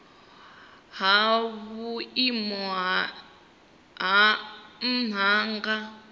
ha vhuimo ha nha nga